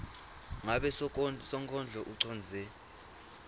ngabe sonkondlo ucondze